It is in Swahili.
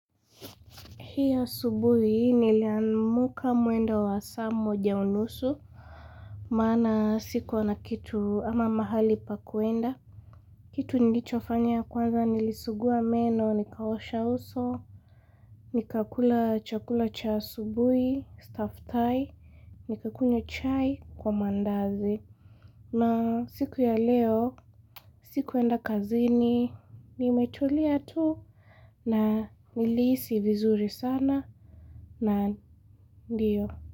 Hii asubuhi niliamka mwendo wa saa moja unusu. Maana sikuwa na kitu ama mahali pa kuenda. Kitu nilichofanya ya kwanza nilisugua meno, nikaosha uso. Nikakula chakula cha asubuhi, staftahi, nikakunywa chai kwa mandazi. Na siku ya leo, sikuenda kazini, nimetulia tu na nilihisi vizuri sana. Na na ndio.